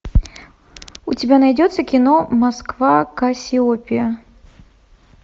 у тебя найдется кино москва кассиопея